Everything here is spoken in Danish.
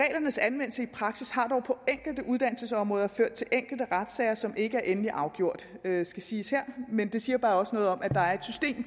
anvendelse i praksis har dog på enkelte uddannelsesområder ført til enkelte retssager som ikke er endelig afgjort det skal siges her men det siger bare også noget om at